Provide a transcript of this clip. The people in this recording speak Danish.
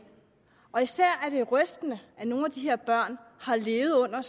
og især er det rystende at nogle af de her børn har levet under